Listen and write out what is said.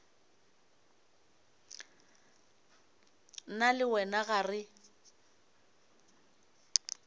nna le wena ga re